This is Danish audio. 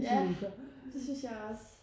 Ja det synes jeg også